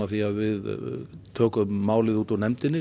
því að við tökum málið útúr nefndinni